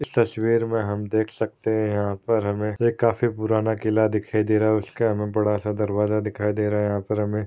तस्वीर मे हम देख सकते है यहा पर हमे ये काफी पुराना किला दिखाई दे रहा है उसका हमें बड़ा सा दरवाजा दिखाई दे रहा है यहा पर हमे--